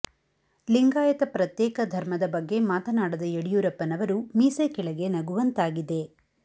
ಲಿಂಗಾಯತ ಪ್ರತ್ಯೇಕ ಧರ್ಮದ ಬಗ್ಗೆ ಮಾತನಾಡದ ಯಡಿಯೂರಪ್ಪನವರು ಮೀಸೆ ಕೆಳಗೆ ನಗುವಂತಾಗಿದೆ